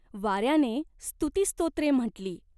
वाऱ्याने स्तुतिस्तोत्रे म्हटली.